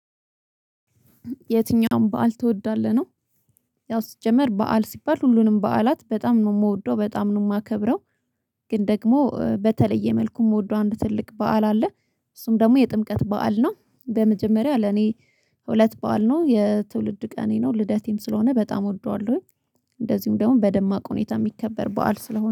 የትኛውም በዓል ትወዳለህ? ነው። ያው ሲጀመር በዓል ሲባል ሁሉንም በዓላት በጣም ነው የምወደው በጣም ነው የማከብረው። ግን ደግሞ በተለየ መልኩ የምወደው አንድ ትልቅ በዓል አለ። እሱም ደግሞ የጥምቀት በዓል ነው። በመጀመሪያ ለኔ። ሁለት በዓል ነው የትውልድ ቀኔ ነው ልደቴም ስለሆነ በጣም እወደዋለሁኝ። እንደዚሁም ደግሞ በደማቅ ሁኔታ የሚከበር በዓል ስለሆነ